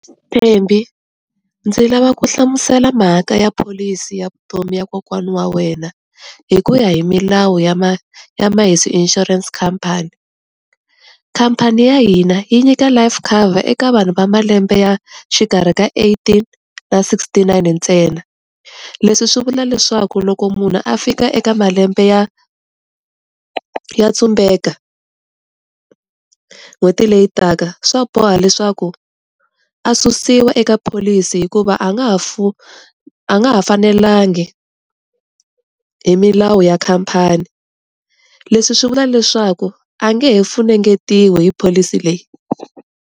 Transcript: Thembi ndzi lava ku hlamusela mhaka ya pholisi ya vutomi ya kokwana wa wena, hi ku ya hi milawu ya ma ya Maheso insurance company, khampani ya hina yi nyika life cover eka vanhu va malembe ya xikarhi ka eighteen na sixty-nine ntsena, leswi swi vula leswaku loko munhu a fika eka malembe ya ya tsumbeka n'hweti leyi taka swa boha leswaku a susiwa eka pholisi hikuva a nga ha a nga ha fanelanga hi milawu ya khampani. Leswi swi vula leswaku a nge he funengetiwi hi pholisi leyi.